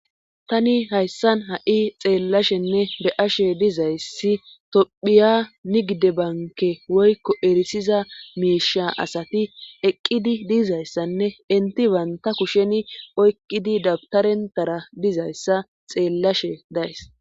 tani hayssan ha7i xeellashenne de7ashe dizayssi tophiya nigde banke woykko erisiza miisha asati eqqidi diizayssanne enti baynta kusheni oykqidi dabtarentara dizayssa xeellashe days